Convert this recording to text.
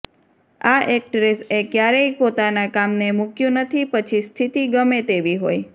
આ એક્ટ્રેસ એ ક્યારેય પોતાના કામ ને મુક્યું નથી પછી સ્થિતિ ગમે તેવી હોય